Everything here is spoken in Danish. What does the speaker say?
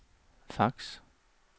fax